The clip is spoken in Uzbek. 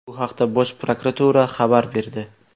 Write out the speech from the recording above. Bu haqda Bosh prokuratura xabar berdi .